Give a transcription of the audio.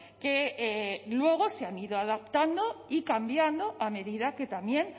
que luego se han ido adaptando y cambiando a medida que también